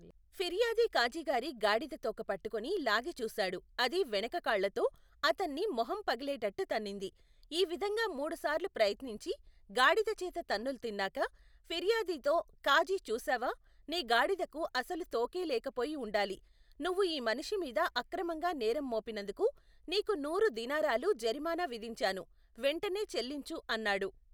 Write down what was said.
ఫిర్యాది కాజీగారి గాడిదతోక పట్టుకుని లాగిచూశాడు అది వెనకకాళ్ళతో, అతన్ని మొహం పగిలేటట్టు తన్నింది ఈ విధంగా మూడు సార్లు ప్రయత్నించి గాడిదచేత తన్నులు తిన్నాక, ఫిర్యాదితో కాజీ చూశావా నీ గాడిదకు అసలు తోకే లేకపోయి ఉండాలి, నువ్వు ఈ మనిషిమీద అక్రమంగా నేరం మోపినందుకు నీకు నూరు దీనారాలు జరిమానా విధించాను వెంటనే చెల్లించు అన్నాడు.